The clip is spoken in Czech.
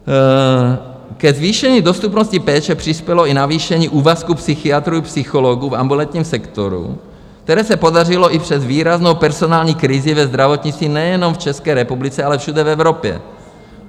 Ke zvýšení dostupnosti péče přispělo i navýšení úvazků psychiatrů i psychologů v ambulantním sektoru, které se podařilo i přes výraznou personální krizi ve zdravotnictví nejenom v České republice, ale všude v Evropě.